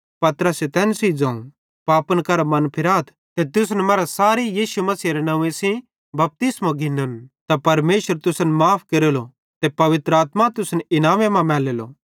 पतरसे तैन सेइं ज़ोवं पापन करां मनफिराथ ते तुसन मरां सारे यीशु मसीहेरे नंव्वे सेइं बपतिस्मो घिन्ना त परमेशर तुसन माफ़ केरेलो ते पवित्र आत्मा तुसन इनामे मां मैलेली